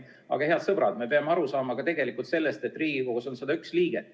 Aga, head sõbrad, me peame aru saama ka sellest, et Riigikogus on 101 liiget.